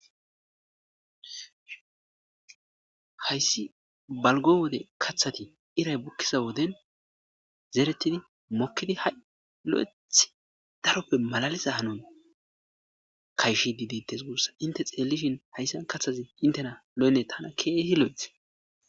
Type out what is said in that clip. hayssi balgo wode kaththati iray bukkiza woden zeeretidi mokkidi ha7 lo7eth daroppe malalisa hanon kayshi di dittes gurssa inte xeellishin hayssan kathazi intena lo7ene tana keehi lo7eth